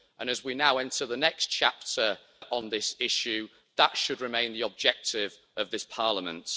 As we now enter the next chapter on this issue, that should remain the objective of this Parliament.